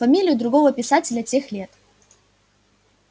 фамилию другого писателя тех лет